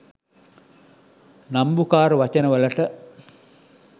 නම්බුකාර වචන වලට